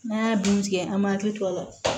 N'a y'a dun tigɛ an m'a hakili to a la